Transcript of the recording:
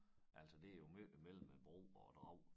Altså det jo mellem æ bro og æ Drag